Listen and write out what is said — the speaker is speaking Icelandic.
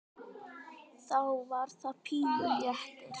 Þá var það pínu léttir.